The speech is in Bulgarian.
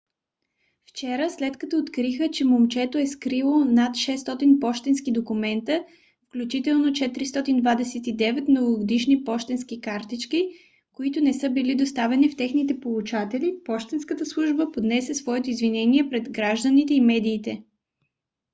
вчера след като откриха че момчето е скрило над 600 пощенски документа включително 429 новогодишни пощенски картички които не са били доставени на техните получатели пощенската служба поднесе своето извинение пред гражданите и медиите